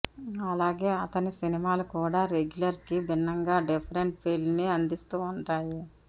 అలాగే అతని సినిమాలు కూడా రెగ్యులర్ కి భిన్నంగా డిఫరెంట్ ఫీల్ ని అందిస్తూ ఉంటాయి